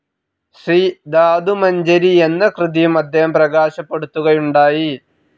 ശ്രീധാതുമജ്ഞരി എന്ന കൃതിയും അദ്ദേഹം പ്രകാശപ്പെടുത്തുകയുണ്ടായി.